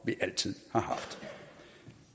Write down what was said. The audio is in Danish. vi altid har haft